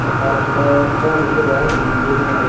karento tom ikko deong indi honabot.